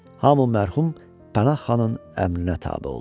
Hamı mərhum Pənah xanın əmrinə tabe oldu.